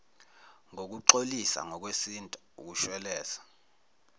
ngokuxolisa ngokwesintu ukushweleza